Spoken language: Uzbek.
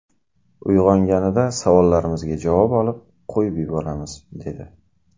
Uyg‘onganida savollarimizga javob olib, qo‘yib yuboramiz’, dedi.